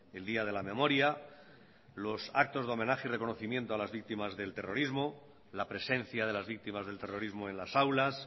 el día de la memoria los actos de homenaje y reconocimiento a las víctimas del terrorismo la presencia de las víctimas del terrorismo en las aulas